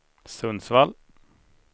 Sundsvall